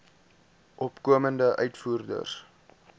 opkomende uitvoerders